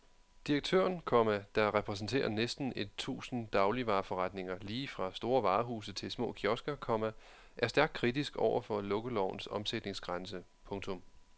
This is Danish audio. Direktøren, komma der repræsenterer næsten et tusind dagligvareforretninger lige fra store varehuse til små kiosker, komma er stærkt kritisk over for lukkelovens omsætningsgrænse. punktum